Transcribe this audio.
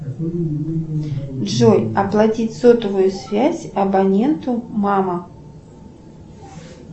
джой оплатить сотовую связь абоненту мама